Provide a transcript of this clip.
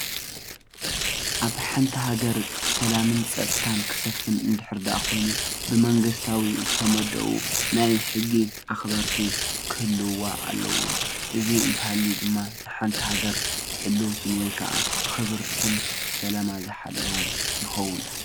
ኣብ ሓንቲ ሃገር ሰላምን ፀፅታን ክሰፍን እንድሕር ደኣ ኮይኑ ብመንግስታዊ ዝተመደቡ ናይ ሕጊ አክበርቲ ክህልዉዋ ኣለዎም፡፡ እዚ እንተሃልዩ ድማ ሓንቲ ሃገር ሕልውቲን ወይ ከዓ ክብርትን ሰላማ ዝሓለወን ይከውን፡፡